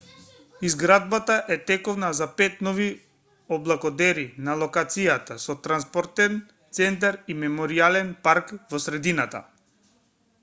изградбата е тековна за пет нови облакодери на локацијата со транспортен центар и меморијален парк во средината